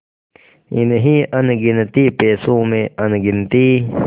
इन्हीं अनगिनती पैसों में अनगिनती